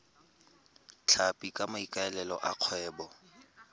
tlhapi ka maikaelelo a kgwebo